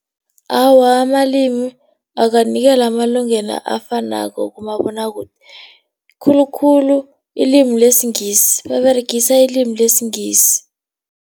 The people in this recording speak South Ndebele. Awa, amalimi akanikelwa amalungelo afanako kumabonwakude, khulukhulu ilimi lesiNgisi baberegisa ilimi lesiNgisi.